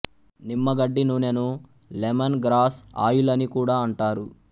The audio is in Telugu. నిమ్మగడ్డి నూనె ను లెమన్ గ్రాస్ ఆయిల్ అనికూడా అంటారు